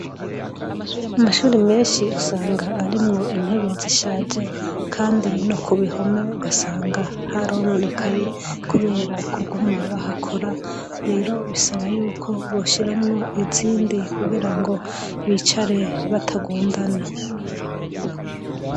Amashure menshi usanga arimwo intebe zishaje kandi no ku bihome ugasanga harononekaye kubera kuguma bahakora, rero bisaba yuko boshiramwo izindi kugira ngo bicare batagundana.